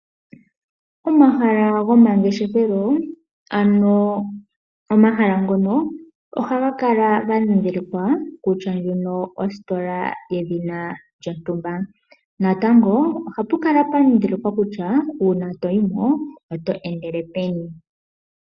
Omahala gomangeshefelo ohaga kala gandhidhilikwa kutya ndjino ositola yedhina lyontumba. Natango ohapu kala pwandhidhilikwa kutya uuna toyimo oto endele peni.